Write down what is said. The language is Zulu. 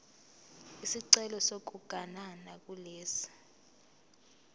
isicelo sokuganana kulesi